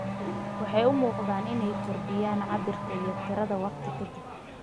Waxay u muuqdaan inay kordhiyaan cabbirka iyo tirada wakhti ka dib.